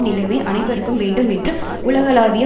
நிலைமை அனைவருக்கும் வேண்டும் என்று உலகளாவிய